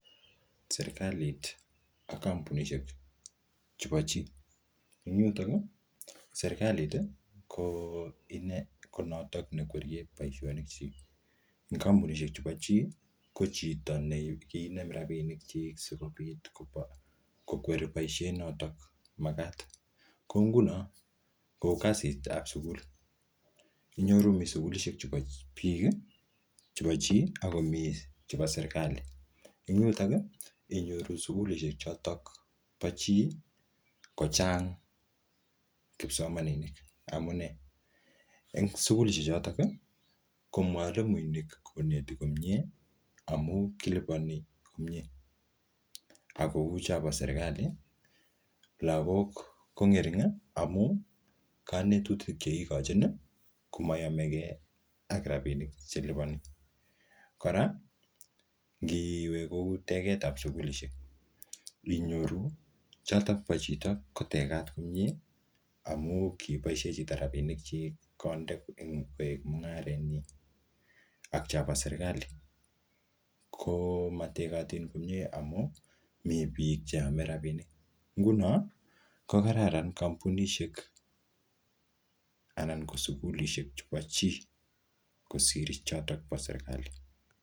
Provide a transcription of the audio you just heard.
Serikalit ak kampunishek chepo chii. Eng yutok, ko serikalit, ko inee, ko notok ne kwerie boisonik chik. Eng kampunishek chepo chiii, ko chito ne kinem rabinik chik sikobit kobo kokweri boisiet notok magat. Kou nguno, kou kasit ap sukul. Inyoru mii sukulishek chepo biik, chepo chii, ako miii chepo serikali. Eng yutok, inyoru sukulishek chotok po chii, kochang kipsomaninik amunee? Eng sukulishek chotok, ko mwalimuinik koneti komyee, amu kilipani komyee. Akouu chopo serikali, lagok ko ng'ering amu kanetutik che kikochin, komayamegee ak rabinik che lipani. Kora, ngiwe kou teget ap sukulishek, nginyoru chotok po chito, ko tekat komyee, amuu kiboisie chito rabinik chik konde koek mung'aret nyi. Ak chobo serikali, ko mategatin komyee amu mii biik che ame rabinik. Nguno, ko kararan kampunishek anan ko sukulishek chepo chii kosir chotok po serikali.